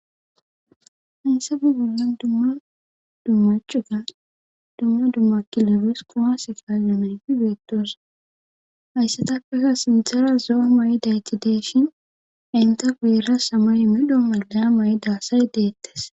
Haysa bu gulan dumma dummachuga dumma dummakilebes koase kayanayfi beettoos hayssatakakka sintera zo'a ma'i daytideshin enta gueera samay midho malga ma'i daassay deettes